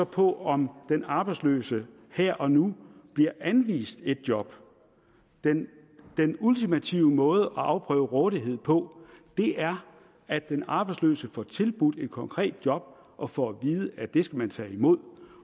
på om den arbejdsløse her og nu bliver anvist et job den den ultimative måde at afprøve rådighed på er at den arbejdsløse får tilbudt et konkret job og får at vide at det skal man tage imod